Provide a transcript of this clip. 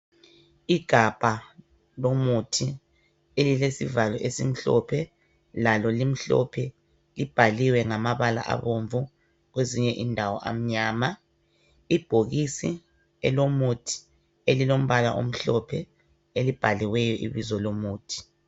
Igabha lomuthi elilesivalo esimhlophe lalo limhlophe, libhaliwe ngamabala abomvu kwezinye indawo amnyama. Ibhokisi elomuthi elilombala omhlophe elibhaliweyo ibizo lomuthi.